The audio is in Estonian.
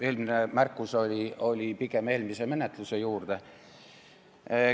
Too märkus oli pigem eelmise eelnõu menetluse kohta.